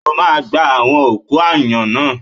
O máa gba àwọn òkú aáyán náà!